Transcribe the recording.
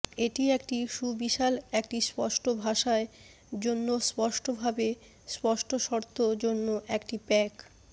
এটি একটি সুবিশাল একটি স্পষ্টভাষায় জন্য স্পষ্টভাবে স্পষ্ট শর্ত জন্য একটি প্যাক